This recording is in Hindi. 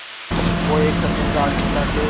वो एक चतुर राजनेता थे